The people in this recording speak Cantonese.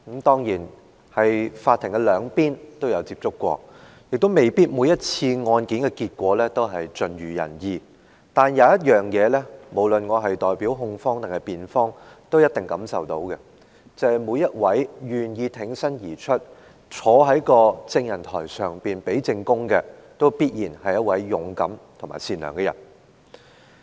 當然，法庭上的控辯兩方我都代表過，而每宗案件的結果亦未必盡如人意，但是，無論代表控方或辯方，我都能感受到的一點，就是每位願意挺身而出，坐在證人台上作供的，都必然是勇敢和善良的人。